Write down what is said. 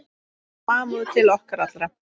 Samúð til okkar allra.